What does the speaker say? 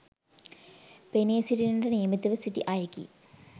පෙනී සිටින්නට නියමිතව සිටි අයෙකි